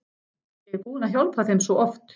Ég er búin að hjálpa þeim svo oft.